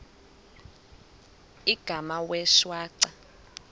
igama wee shwaca